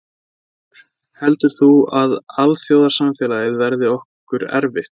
Þulur: Heldur þú að alþjóðasamfélagið verði okkur erfitt?